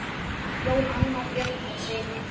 Jón, Anna Björk og synir.